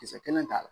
Kisɛ kelen t'a la